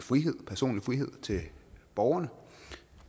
personlig frihed til borgerne